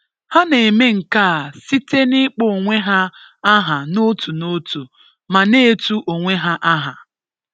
Ha na-eme nke a site n’ịkpọ onwe ha aha n’otu n’otu ma na-etu onwe ha aha.